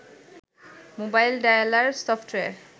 mobile dialer software